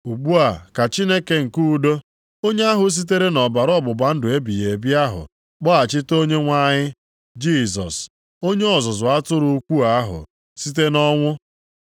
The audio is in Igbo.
Ugbu a ka Chineke nke udo, onye ahụ sitere nʼọbara ọgbụgba ndụ ebighị ebi ahụ kpọghachite Onyenwe anyị Jisọs, Onye ọzụzụ atụrụ ukwuu ahụ, site nʼọnwụ,